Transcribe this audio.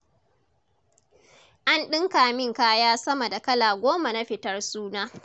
An ɗinka min kaya sama da kala goma na fitar suna.